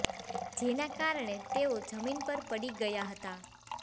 જેના કારણે તેઓ જમીન પર પડી ગયા હતા